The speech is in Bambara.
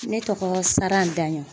Ne tɔgɔ Saran Daɲɔn